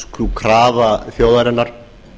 sú krafa þjóðarinnar